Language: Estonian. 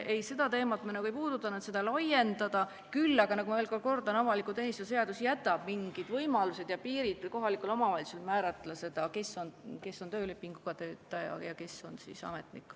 Ei, seda teemat me ei puudutanud, et seda laiendada, küll aga ma veel kord kordan, et avaliku teenistuse seadus jätab mingid võimalused ja piirid kohalikule omavalitsusele, et ta saaks määrata, kes on töölepinguga töötaja ja kes on ametnik.